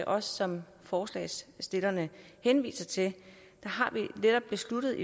også som forslagsstillerne henviser til besluttet